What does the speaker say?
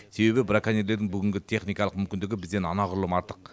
себебі браконьерлердің бүгінгі техникалық мүмкіндігі бізден анағұрлым артық